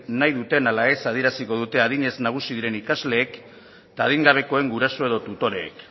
nahi duten ala ez adieraziko dute adinez nagusi diren ikasleek eta adingabekoen guraso edo tutoreek